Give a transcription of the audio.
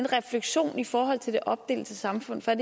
refleksion i forhold til det opdelte samfund for er